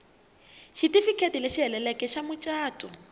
xitifiketi lexi heleleke xa mucato